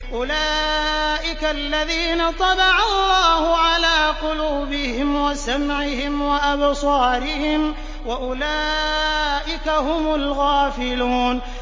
أُولَٰئِكَ الَّذِينَ طَبَعَ اللَّهُ عَلَىٰ قُلُوبِهِمْ وَسَمْعِهِمْ وَأَبْصَارِهِمْ ۖ وَأُولَٰئِكَ هُمُ الْغَافِلُونَ